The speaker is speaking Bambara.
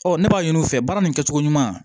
Ɔ ne b'a ɲini u fɛ baara nin kɛcogo ɲuman